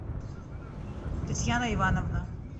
татьяна ивановна